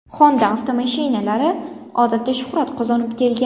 Honda avtomashinalari odatda shuhrat qozonib kelgan.